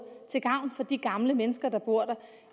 til gavn for de gamle mennesker der bor der